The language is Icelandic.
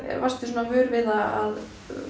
varstu svo vör við það að